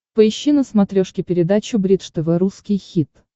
поищи на смотрешке передачу бридж тв русский хит